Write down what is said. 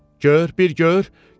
Gör, bir gör!